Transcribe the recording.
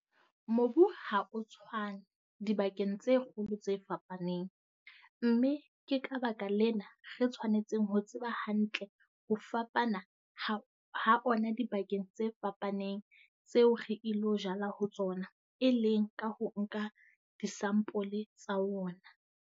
Mobu ha o tshwane dibakeng tse kgolo tse fapaneng, mme ke ka baka lena re tshwanetseng ho tseba hantle ho fapana ha ona dibakeng tse fapaneng tseo re ilo jala ho tsona, e leng ka ho nka disampole tsa wona.